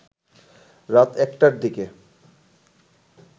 রাত ১টার দিকে